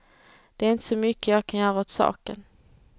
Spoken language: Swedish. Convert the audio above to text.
Det är inte så mycket jag kan göra åt saken.